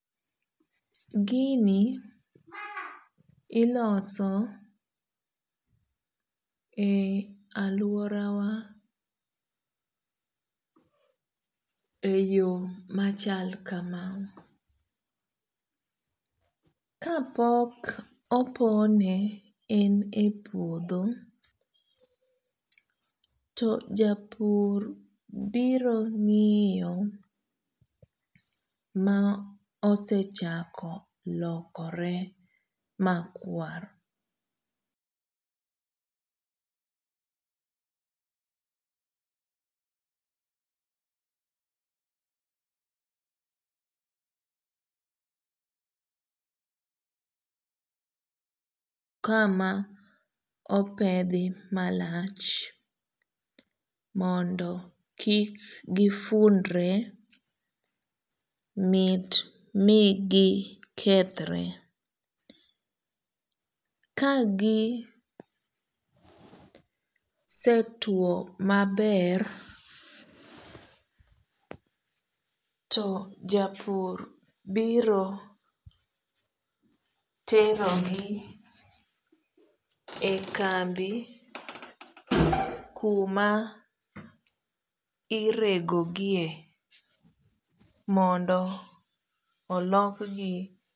Gini iloso e alworawa e yoo machal kam kapok opone en e puodho to japur biro ngiyo mosechako lokore makwar kama opedh malach mondo kik gifundre mondo mi gikethre to kagisetuo maber to japur biro tero gi e kambi kuma iregogie mondo olok gi